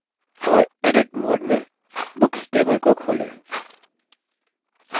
और edit mode में books table को खोलें